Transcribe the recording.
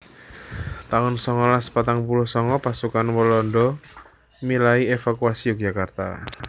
taun songolas patang puluh sanga Pasukan Walanda milai ngévakuasi Yogyakarta